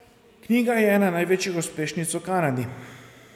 Knjiga je ena največjih uspešnic v Kanadi.